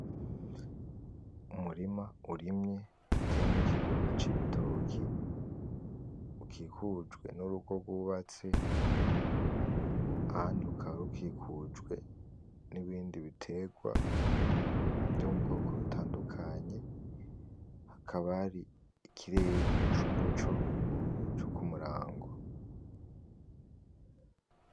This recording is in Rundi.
Umurima urimye uteyemwo ikigunda cibitoki ukikujwe n’urugo gubaste .Ahandi rukaba rukikujwe nibindi biterwa vyo mubwoko butandukanye hakaba hari ikirere c’umuco co kumurango.